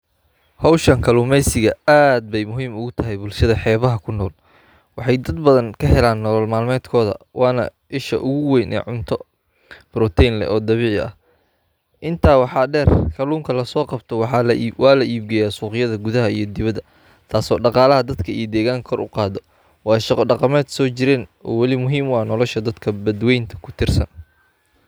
Howshan kaluumeysiga aad bey muhiim ugatahy bulshada heebaha kunool. Waxey dad badhan kaheliaan nolol malmedkodha waana Isha uguweyna cunto protein leh oo dabiici ah. Intaa waxaa deer kaluunka lasooqabto waa laibgeya suqyadha gudhaxa iyo dibada taas oo daqaalaha dadka iyo deeganka kor ugaado. Waa shaqo daqameed Soo jireen weli muhiim uah nolosha dadka badweynta kutiirsan.